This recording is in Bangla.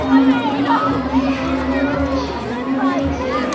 মূর্তিটিকে অনেক সুন্দর করে সাজানো হয়েছে।